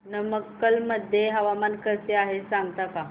नमक्कल मध्ये हवामान कसे आहे सांगता का